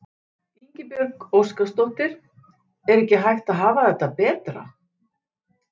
Ingibjörg Óskarsdóttir: Er ekki hægt að hafa þetta betra?